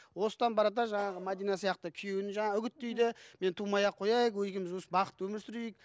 осыдан барады да жаңағы мәдина сияқты күйеуін жаңағы үгіттейді мен тумай ақ қояйық екеуіміз бақытты өмір сүрейік